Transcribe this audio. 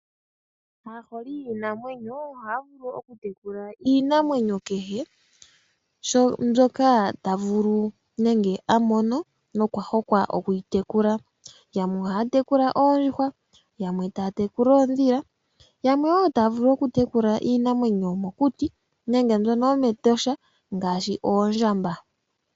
Aaholi yiinamwenyo ohaa vulu oku tekula iinamwenyo kehe, mbyoka ta vulu nenge a mono, nokwa hokwa oku yi tekula. Yamwe ohaa tekula oondjuhwa, yamwe taa tekula oondhila, yamwe wo taa vulu oku tekula iinamwenyo yomokuti nenge mbyono yomEtosha, ngaashi oondjamba.